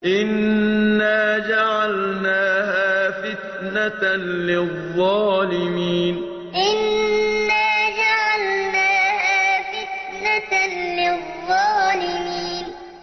إِنَّا جَعَلْنَاهَا فِتْنَةً لِّلظَّالِمِينَ إِنَّا جَعَلْنَاهَا فِتْنَةً لِّلظَّالِمِينَ